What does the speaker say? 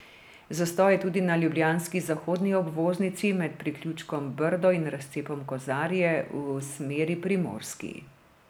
Zastoj je tudi na ljubljanski zahodni obvoznici med priključkom Brdo in razcepom Kozarje v smeri Primorski.